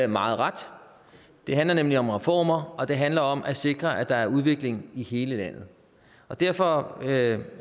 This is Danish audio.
meget ret det handler nemlig om reformer og det handler om at sikre at der er udvikling i hele landet og derfor er jeg